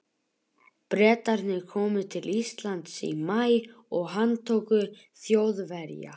Bretarnir komu til Íslands í maí og handtóku Þjóðverja.